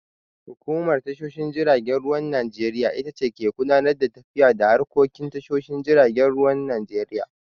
Hukumar tashoshin jiragen ruwan Najeriya itace ke gudanar da tafiyar da harkokin tashoshin jiragen ruwan Najeriya.